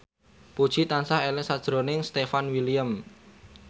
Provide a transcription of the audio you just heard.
Puji tansah eling sakjroning Stefan William